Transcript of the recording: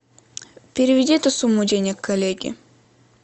переведи эту сумму денег коллеге